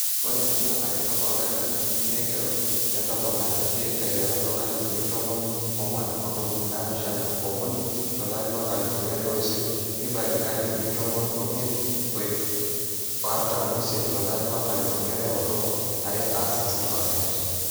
ore nena aretok ooldamitarini naaigerro netoponate aiterru toonkalifuni tomon oong'wuan ontomoni naapishana ookuni tolari loo nkalifuni are ooisiet nebaiki nkalifuni tomoniuni ooimiet o ip nabo o artam ooisiet tolari loo nkalifuni are o tomon aare aa 60 percent